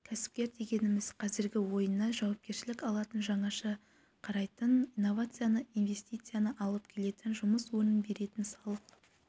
кәсіпкер дегеніміз қазіргі ойына жауапкершілік алатын жаңаша қарайтын инновацияны инвестицияны алып келетін жұмыс орнын беретін салық